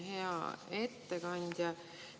Hea ettekandja!